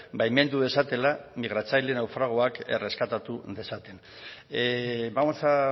baimendu dezatela migratzaile naufragoak erreskatatu dezaten vamos a